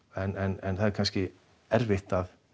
en það er kannski erfitt